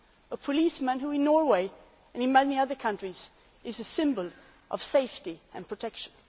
A policeman who in Norway and in many other countries is a symbol of safety and protection.